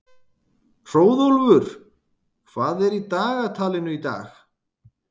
Hróðólfur, hvað er í dagatalinu í dag?